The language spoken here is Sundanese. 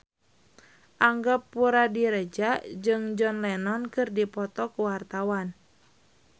Angga Puradiredja jeung John Lennon keur dipoto ku wartawan